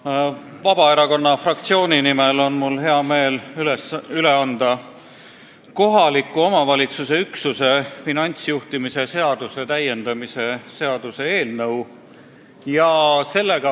Mul on hea meel anda Vabaerakonna fraktsiooni nimel üle kohaliku omavalitsuse üksuse finantsjuhtimise seaduse täiendamise seaduse eelnõu.